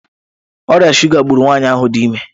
Ọrịa shuga gburu nwanyị ahụ dị ime.